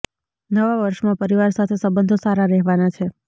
નવા વર્ષમાં પરિવાર સાથે સંબંધો સારા રહેવાના છે